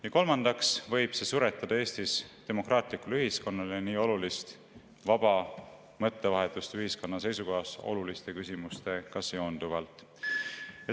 Ja kolmandaks võib see suretada Eestis demokraatlikule ühiskonnale nii olulist vaba mõttevahetust ühiskonna seisukohast oluliste küsimuste üle.